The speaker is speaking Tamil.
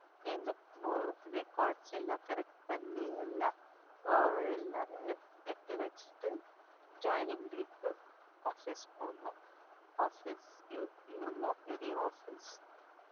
இந்த records எல்லாம் correct பண்ணி எல்லாம் ஆஹ் எல்லாரும் எடுத்து வச்சுட்டு joining date க்கு office போணும் office எவ்ளோ பெரிய office